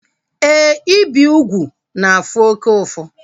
Éè, ibi úgwù na-afụ oke ụfụ